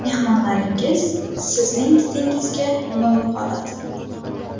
Mehmonlaringiz sizning didingizga lol qoladi.